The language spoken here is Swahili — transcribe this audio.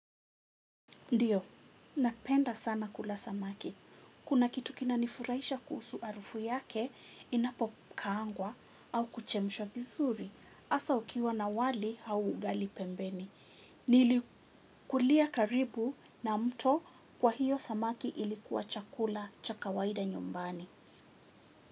Ndiyo, napenda sana kula samaki. Kuna kitu kina nifurahisha kuhusu harufu yake inapo kaangwa au kuchemshwa vizuri. Hasa ukiwa na wali au ugali pembeni. Nili kulia karibu na mto kwa hiyo samaki ilikuwa chakula cha kawaida nyumbani.